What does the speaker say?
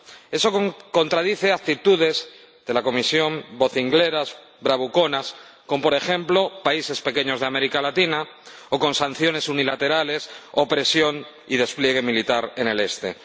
Eso contradice actitudes de la Comisión vocingleras, bravuconas, con, por ejemplo, países pequeños de América Latina o con sanciones unilaterales, opresión y despliegue militar en el este.